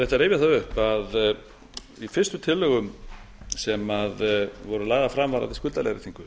upp að í fyrstu tillögum sem voru lagðar fram varðandi skuldaleiðréttingu